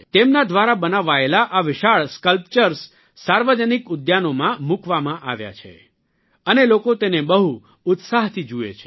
તેમના દ્વારા બનાવાયેલા આ વિશાળ સક્લ્પચર્સ સાર્વજનિક ઉદ્યાનોમાં મૂકવામાં આવ્યા છે અને લોકો તેને બહુ ઉત્સાહથી જુએ છે